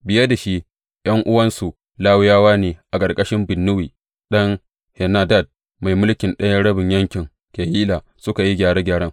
Biye da shi, ’yan’uwansu Lawiyawa ne a ƙarƙashin Binnuyi ɗan Henadad, mai mulkin ɗayan rabin yankin Keyila suka yi gyare gyaren.